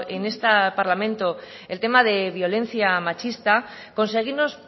en este parlamento el tema de violencia machista conseguimos